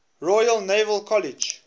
royal naval college